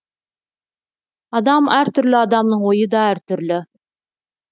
адам әртүрлі адамның ойы да әртүрлі